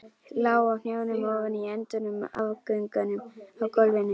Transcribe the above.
Lá á hnjánum ofan á endum og afgöngum á gólfinu.